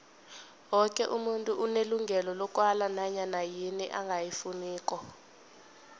woke umuntu unelungelo lokwala nanyana yini angayifuniko